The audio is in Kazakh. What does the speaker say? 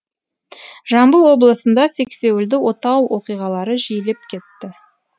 жамбыл облысында сексеуілді отау оқиғалары жиілеп кетті